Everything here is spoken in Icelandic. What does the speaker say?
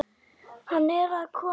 Hann er að koma.